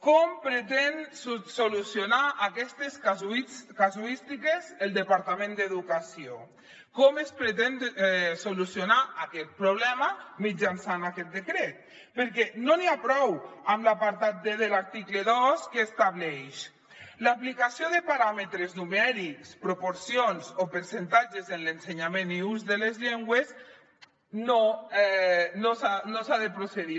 com pretén solucionar aquestes casuístiques el departament d’educació com es pretén solucionar aquest problema mitjançant aquest decret perquè no n’hi ha prou amb l’apartat d de l’article dos que estableix l’aplicació de paràmetres numèrics proporcions o percentatges en l’ensenyament i ús de les llengües no s’ha de procedir